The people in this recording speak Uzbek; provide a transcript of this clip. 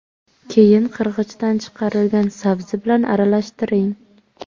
Keyin qirg‘ichdan chiqarilgan sabzi bilan aralashtiring.